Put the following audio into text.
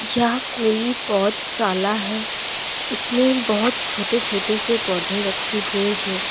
यह कोई पौधशाला है इसमें बहोत छोटे छोटे से पौधे रखे हुए हैं।